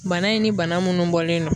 Bana in ni bana munnu bɔlen don